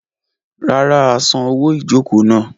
Rárá, a san owó ìjokòó náà.